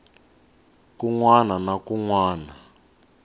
kun wana na kun wana